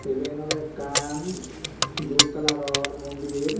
iban ole ekkan dup coloror mondir.